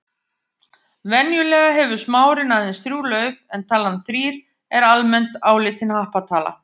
Venjulega hefur smárinn aðeins þrjú lauf en talan þrír er almennt álitin happatala.